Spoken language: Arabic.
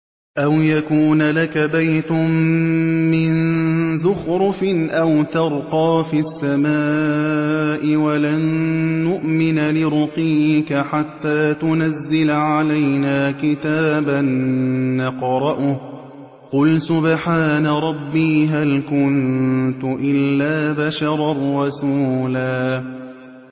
أَوْ يَكُونَ لَكَ بَيْتٌ مِّن زُخْرُفٍ أَوْ تَرْقَىٰ فِي السَّمَاءِ وَلَن نُّؤْمِنَ لِرُقِيِّكَ حَتَّىٰ تُنَزِّلَ عَلَيْنَا كِتَابًا نَّقْرَؤُهُ ۗ قُلْ سُبْحَانَ رَبِّي هَلْ كُنتُ إِلَّا بَشَرًا رَّسُولًا